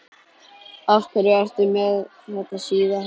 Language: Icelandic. Af hverju ertu með þetta síða hár?